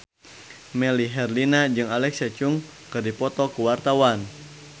Melly Herlina jeung Alexa Chung keur dipoto ku wartawan